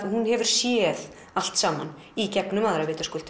hún hefur séð allt saman í gegnum aðra